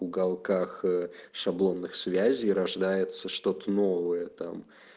уголках э шаблонных связей рождается что-то новое там